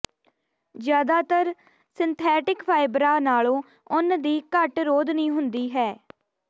ਜ਼ਿਆਦਾਤਰ ਸਿੰਥੈਟਿਕ ਫਾਈਬਰਾਂ ਨਾਲੋਂ ਉੱਨ ਦੀ ਘੱਟ ਰੋਧਨੀ ਹੁੰਦੀ ਹੈ